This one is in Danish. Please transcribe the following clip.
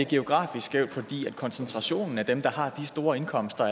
geografisk skævt fordi koncentrationen af dem der har de store indkomster